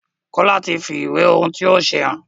Kola tí fí ìwé ohùn tí yóò ṣe hàn.